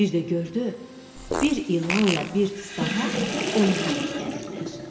Bir də gördü bir ilanla bir tısbağa ona tərəf gəlirlər.